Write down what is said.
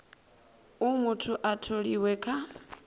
uh muthu a tholiwe kha